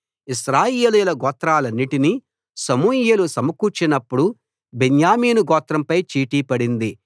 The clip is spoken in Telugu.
ఇశ్రాయేలీయుల గోత్రాలన్నిటినీ సమూయేలు సమకూర్చినపుడు బెన్యామీను గోత్రంపై చీటీ పడింది